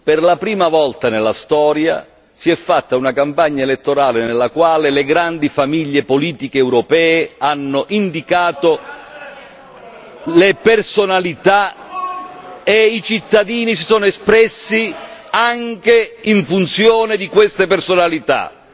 Per la prima volta nella storia si è fatta una campagna elettorale nella quale le grandi famiglie politiche europee hanno indicato le personalità e i cittadini si sono espressi anche in funzione di queste personalità.